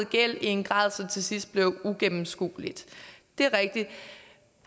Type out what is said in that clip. gæld i en grad så det til sidst blev uigennemskueligt det er rigtigt